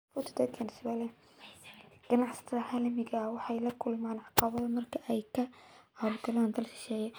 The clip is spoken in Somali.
Ganacsatada caalamiga ah waxay la kulmaan caqabado marka ay ka howlgalaan dalal shisheeye.